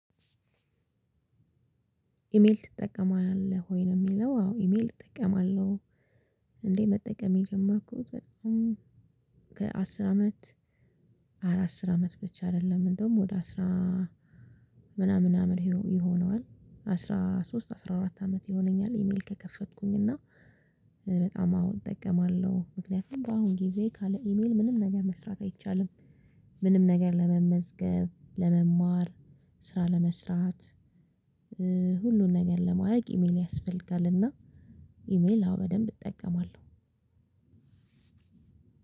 ኢሜል ትጠቀማለህ ወይ ለሚለው አዎ ኢሜል እጠቀማለሁ። እንዴ መጠቀም የጀመርኩት በጣም ከአስር አመት ኧረ አስር አመት ብቻ አይደለም እንደውም ወደ አስራ ምናምን ይሆነዋል አስራ ሶስት አስራ አራት አመት ይሆነኛል። ኢሜል ከከፈትኩኝ እና በጣም አወ እጠቀማለሁ ምክንያቱም ባሁን ጊዜ ካለ ኢሜል ምንም ነገር መስራት አይቻልም። ምንም ነገር ለመመዝገብ ለመማር ስራ ለመስራት ሁሉን ነገር ለማድረግ ኢሜል ያስፈልጋል። እና ኢሜል አወ በደንብ እጠቀማለሁ።